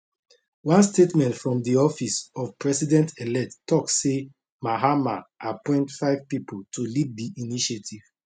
one statement from di office of presidentelect tok say mahama appoint five pipo to lead di initiative